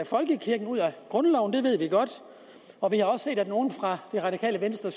folkekirken ud af grundloven det ved vi godt og vi har også set at nogle fra det radikale venstre